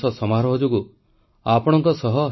• ଗଗନଯାନର ମହାକାଶଚାରୀଙ୍କୁ ପ୍ରଧାନମନ୍ତ୍ରୀଙ୍କ ଶୁଭକାମନା